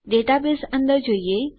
database અંદર જોઈએ